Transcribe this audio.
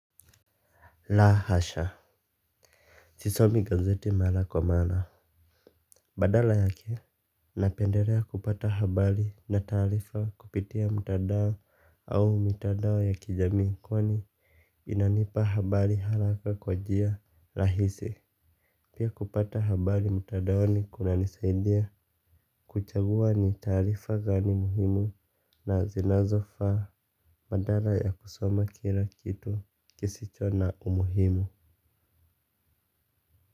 La hasha. Sisomi gazeti mara kwa mara. Badala yake napendelea kupata habari na taarifa kupitia mtandao au mitandao ya kijamii kwani inanipa habari haraka kwa njia rahisi. Pia kupata habari mtandaoni kunanisaidia. Kuchagua ni taarifa gani muhimu na zinazofaa. Badala ya kusoma kila kitu kisicho na umuhimu.